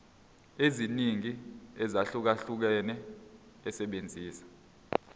eziningi ezahlukahlukene esebenzisa